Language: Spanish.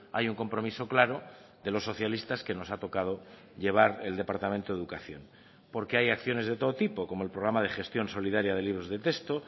hay un compromiso claro de los socialistas que nos ha tocado llevar el departamento de educación porque hay acciones de todo tipo como el programa de gestión solidaria de libros de texto